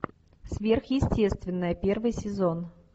сверхъестественное первый сезон